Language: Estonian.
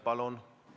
Palun!